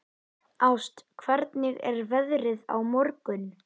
Ást, hvernig er veðrið á morgun?